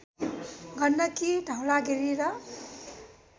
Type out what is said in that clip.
गण्डकी धवलागिरी र